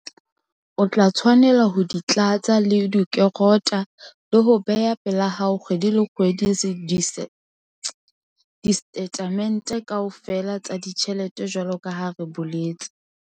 O tla tshwanela ho di tlatsa le ho di kerota le ho beha pela hao kgwedi le kgwedi disetatemente kaofela tsa ditjhelete jwalo ka ha re boletse.